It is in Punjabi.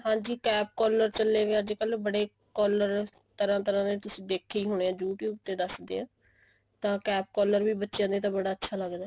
ਹਾਂਜੀ cap collar ਚੱਲੇ ਵਏ ਨੇ ਅੱਜਕਲ ਬੜੇ collar ਤਰ੍ਹਾਂ ਤਰ੍ਹਾਂ ਦੇ ਦੇਖੇ ਹੋਣੇ YouTube ਤੇ ਦੱਸਦੇ ਆ ਤਾਂ cap collar ਵੀ ਬੱਚਿਆ ਦੇ ਬੜਾ ਅੱਛਾ ਲੱਗਦਾ